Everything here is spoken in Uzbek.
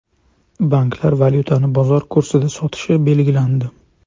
Banklar valyutani bozor kursida sotishi belgilandi.